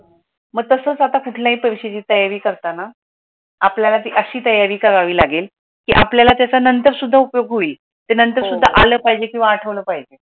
मग तसंच आपण कुठल्याही परीक्षेची तयारी करताना आपल्याला अशी तयारी करावी लागेल की आपल्याला नंतर सुद्धा उपयोग होईलते नंतर सुद्धा आलं पाहिजे किंवा आठवलं पाहिजे.